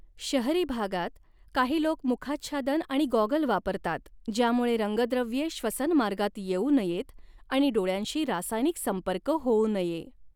शहरी भागात, काही लोक मुखाच्छादन आणि गॉगल वापरतात ज्यामुळे रंगद्रव्ये श्वसनमार्गात येऊ नयेत आणि डोळ्यांशी रासायनिक संपर्क होऊ नये.